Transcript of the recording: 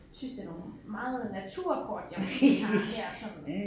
Synes det er nogle meget naturkort vi har her sådan